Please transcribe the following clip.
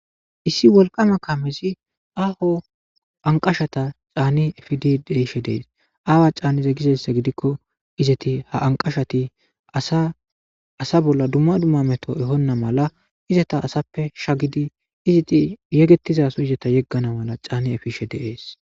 Issi wolqama kamezi aho anqashata caanni efidi deishe dees aawa caaniza gizeyssa gidikko izati ha anqashati aasa bolla dumma dumma meto ehonna mala izata asappe shagidi iziti yegettiza su izata yeggana mala caani efishe deees.